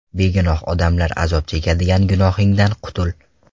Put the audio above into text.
Begunoh odamlar azob chekadigan gunohingdan qutul.